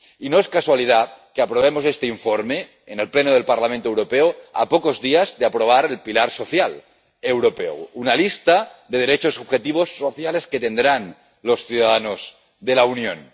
Y no es casualidad que aprobemos este informe en el pleno del Parlamento Europeo a pocos días de aprobar el pilar social europeo, una lista de derechos y objetivos sociales que tendrán los ciudadanos de la Unión.